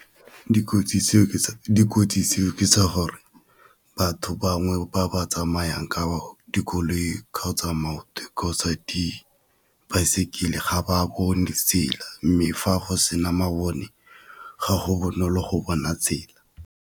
Dikotsi tseo ke tsa gore batho bangwe ba ba tsamayang ka dikoloi, kgotsa maoto, kgotsa di baesekele, ga ba bone tsela mme fa go sena mabone ga go bonolo go bona tsela.